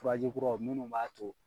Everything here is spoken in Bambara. Faji kuraw minnu b'a to